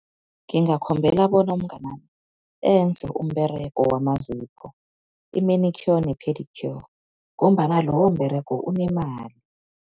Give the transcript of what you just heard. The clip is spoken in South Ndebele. Ngingakhombela bona umnganami enze umberego wamazipho, i-manicure ne-pedicure ngombana lowo mberego unemali.